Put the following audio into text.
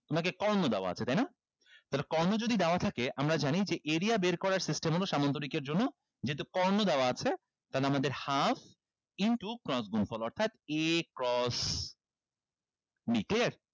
তোমাকে কর্ণ দেওয়া আছে তাইনা তাইলে কর্ণ যদি দেওয়া থাকে আমরা জানি যে area বের করার system হলো সামন্তরিক এর জন্য যেহেতু কর্ণ দেওয়া আছে তাহলে আমাদের half into cross গুনফল অর্থাৎ a cross b ঠিক আছে